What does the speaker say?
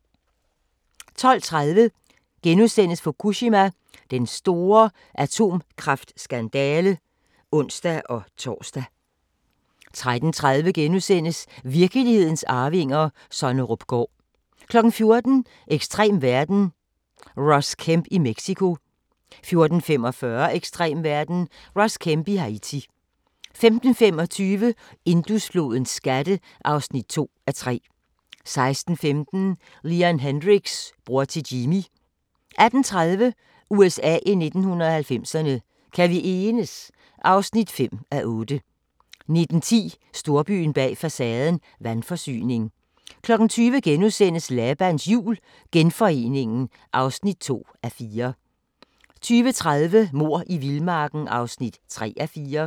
12:30: Fukushima – en atomkraftskandale *(ons-tor) 13:30: Virkelighedens arvinger: Sonnerupgaard * 14:00: Ekstrem verden - Ross Kemp i Mexico 14:45: Ekstrem verden – Ross Kemp i Haiti 15:25: Indusflodens skatte (2:3) 16:15: Leon Hendrix – bror til Jimi 18:30: USA i 1990'erne – Kan vi enes? (5:8) 19:10: Storbyen bag facaden – vandforsyning 20:00: Labans Jul – Genforeningen (2:4)* 20:30: Mord i vildmarken (3:4)